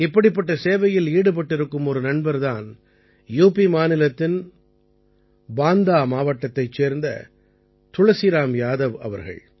இப்படிப்பட்ட சேவையில் ஈடுபட்டிருக்கும் ஒரு நண்பர் தான் யுபி மாநிலத்தின் பாந்தா மாவட்டத்தைச் சேர்ந்த துளசிராம் யாதவ் அவர்கள்